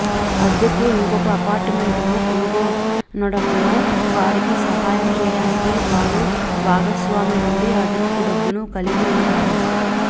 అద్దెకు ఇంకొక అపార్టుమెంటును కనుగొనడంలో వారికి సహాయం చేయడానికి వారు భూస్వామి నుండి అదనపు డబ్బును కలిగి ఉంటారు